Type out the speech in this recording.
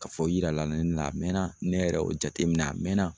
Ka fɔ u yira la ne na a mɛɛnna ne yɛrɛ y'o jateminɛ a mɛɛnna